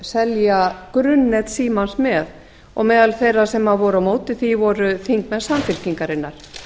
selja grunnnet símans með og meðal þeirra sem voru á móti því voru þingmenn samfylkingarinnar